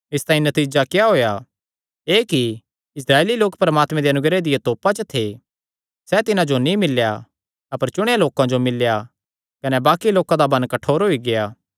इसतांई नतीजा क्या होएया एह़ कि इस्राएली लोक परमात्मे दे अनुग्रह दिया तोपा च थे सैह़ तिन्हां जो नीं मिल्लेया अपर चुणेयां लोकां जो मिल्लेया कने बाक्कि लोकां दा मन कठोर होई गेआ